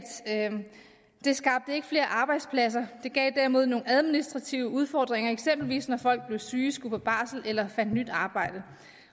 det ikke skabte flere arbejdspladser det gav derimod nogle administrative udfordringer eksempelvis når folk blev syge skulle på barsel eller fandt nyt arbejde